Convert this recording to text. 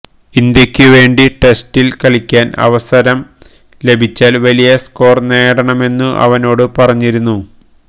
ഇന്ത്യക്കു വേണ്ടി ടെസ്റ്റില് കളിക്കാന് അവസരം ലഭിച്ചാല് വലിയ സ്കോര് നേടണമെന്നു അവനോടു പറഞ്ഞിരുന്നു